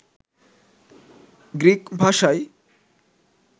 Greek ভাষায়